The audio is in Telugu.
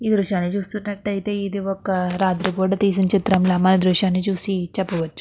ఈ దృశ్యాన్ని చూసినట్లయితే ఇది ఒక రాత్రి పూట తీసినట్టుగా ఈ దృశ్యాన్ని చెప్పవచ్చు.